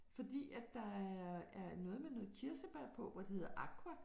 Fordi at der er er noget med noget kirsebær på hvor det hedder aqua